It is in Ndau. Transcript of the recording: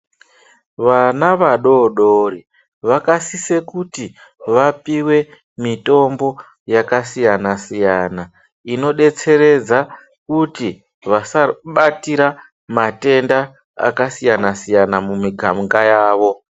Vana vadodori vakasise kuti vapiwe mitombo yakasiyana siyana inodetseredza kuti vasarwe batira matenda akasiyana siyana mumigainga yavo.